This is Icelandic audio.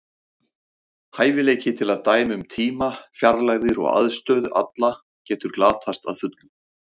Hæfileiki til að dæma um tíma, fjarlægðir og aðstöðu alla getur glatast að fullu.